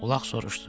Ulaq soruşdu: